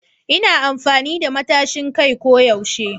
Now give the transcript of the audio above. Ina amfani da matashin kai ko yaushe